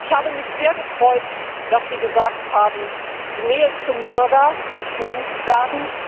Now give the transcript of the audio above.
Ich habe mich sehr gefreut, dass Sie gesagt haben, die Nähe zum Bürger muss gesucht werden.